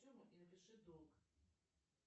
и напиши долг